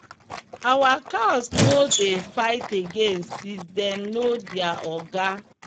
our cows no dey fight again since dem know their oga.